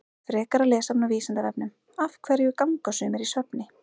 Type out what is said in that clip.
Frekara lesefni á Vísindavefnum Af hverju ganga sumir í svefni?